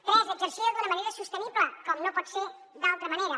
tres exercida d’una manera sostenible com no pot ser d’altra manera